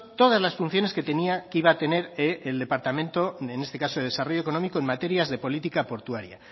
todas las funciones que tenía que iba a tener el departamento en este caso de desarrollo económico en materias de política portuaria